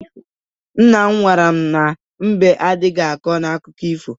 Nna m gwara m na mbe adịghị akọ n'akụkụ ifo.